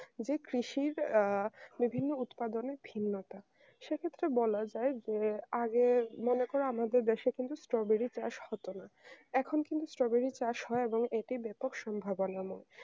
যে কৃষির আহ বিভিন্ন উৎপাদনের ভিন্নতা সে ক্ষত্রে বলা যায় যে আগের মনে করো আমাদের দেশে কিন্তু strawberry চাষ হতো না এখুন কিন্তু strawberry চাষ হয় এটি বেপক সম্ভাবনাবন